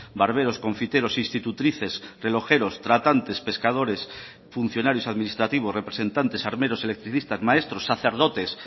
barberos confiteros institutrices relojeros tratantes pescadores funcionarios administrativos representantes armeros electricistas maestros sacerdotes